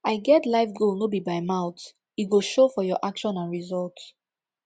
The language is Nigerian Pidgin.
i get life goal no be by mouth e go show from your action and result